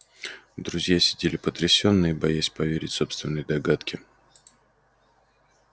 друзья сидели потрясённые боясь поверить собственной догадке